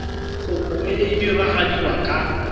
kopo e e diragadiwa ka